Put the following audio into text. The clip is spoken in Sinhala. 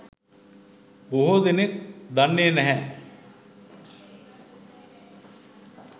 බොහෝ දෙනෙක් දන්නෙ නැහැ.